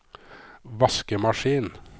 vaskemaskin